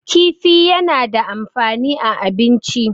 kifi yana da amfani a abinci